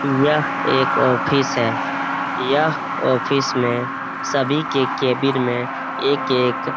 यह एक ऑफिस है यह ऑफिस में सभी के केबिन में एक-एक --